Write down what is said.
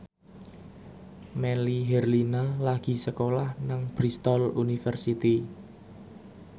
Melly Herlina lagi sekolah nang Bristol university